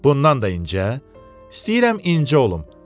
Bundan da incə, istəyirəm incə olum.